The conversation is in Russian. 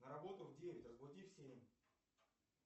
на работу в девять разбуди в семь